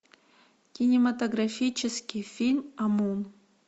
кинематографический фильм амун